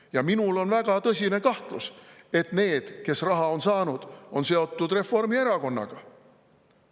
Ja minul on väga tõsine kahtlus, et need, kes raha on saanud, on seotud Reformierakonnaga.